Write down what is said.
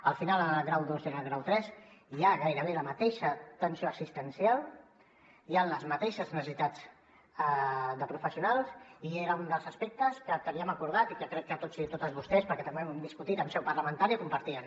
al final en el grau dos i en el grau tres hi ha gairebé la mateixa atenció assistencial hi han les mateixes necessitats de professionals i era un dels aspectes que teníem acordat i que crec que tots i totes vostès perquè també ho hem discutit en seu parlamentària compartien